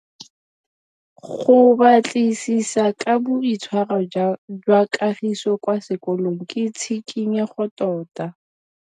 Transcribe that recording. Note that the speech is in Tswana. Go batlisisa ka boitshwaro jwa Kagiso kwa sekolong ke tshikinyêgô tota.